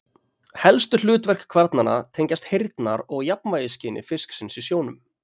Helstu hlutverk kvarnanna tengjast heyrnar- og jafnvægisskyni fisksins í sjónum.